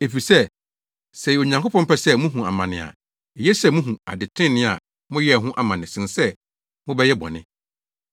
Efisɛ sɛ ɛyɛ Onyankopɔn pɛ sɛ mubehu amane a, eye sɛ mubehu ade trenee a moyɛe ho amane sen sɛ mobɛyɛ bɔne.